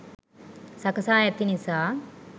සකසා ඇති නිසා